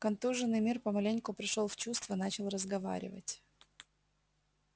контуженный мир помаленьку пришёл в чувство начал разговаривать